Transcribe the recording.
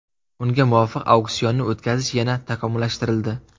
Unga muvofiq auksionni o‘tkazish yana takomillashtirildi.